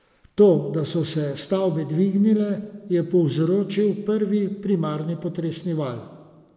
To, da so se stavbe dvignile, je povzročil prvi, primarni potresni val.